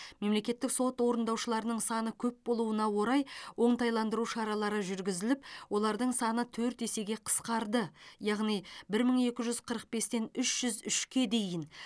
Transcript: мемлекеттік сот орындаушыларының саны көп болуына орай оңтайландыру шаралары жүргізіліп олардың саны төрт есеге қысқарды яғни бір мың екі жүз қырық бестен үш жүз үшке дейін